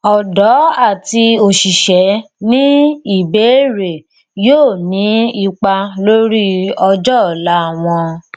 ọdọ àti òṣìṣẹ ní ìbéèrè yóò ní ipa lórí ọjọ́ ọ̀la wọn